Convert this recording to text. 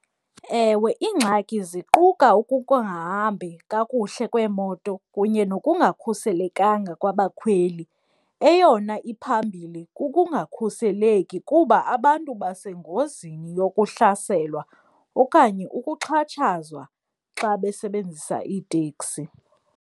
Ewe, iingxaki ziquka ukungahambi kakuhle kweemoto kunye nokungakhuselekanga kwabakhweli, eyona iphambili kukungakhuseleki kuba abantu basengozini yokuhlaselwa okanye ukuxhatshazwa xa besebenzisa iiteksi.